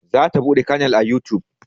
Za ta buɗe canal a yutub